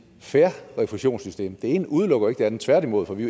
fair refusionssystem det ene udelukker jo ikke det andet tværtimod for vi